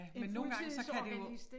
Men nogle gange så kan det jo